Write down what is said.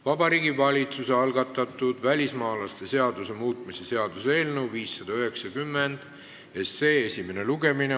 Vabariigi Valitsuse algatatud välismaalaste seaduse muutmise seaduse eelnõu 590 esimene lugemine.